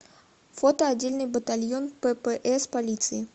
фото отдельный батальон ппс полиции